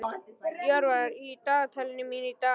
Jörvar, hvað er í dagatalinu mínu í dag?